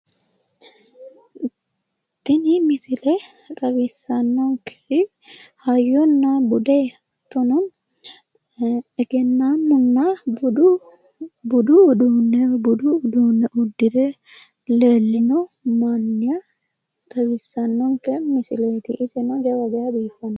Tini misile xawissannonkeri hayyona bude hattono egennaamunna budu uduunne budu uduunne uddire leellino manna xawissanonke misileeti, iseno jawa geeshsha biiffanno.